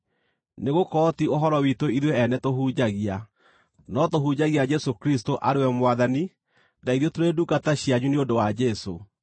Nĩgũkorwo ti ũhoro witũ ithuĩ ene tũhunjagia, no tũhunjagia Jesũ Kristũ arĩ we Mwathani, na ithuĩ tũrĩ ndungata cianyu nĩ ũndũ wa Jesũ.